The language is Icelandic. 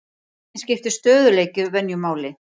Einnig skiptir stöðugleiki venju máli.